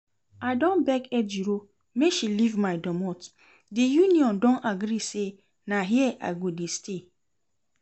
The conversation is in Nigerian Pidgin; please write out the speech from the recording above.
I don beg Ejiro make she leave my domot, the union don agree say na here I go dey stay